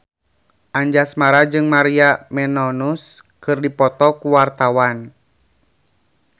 Anjasmara jeung Maria Menounos keur dipoto ku wartawan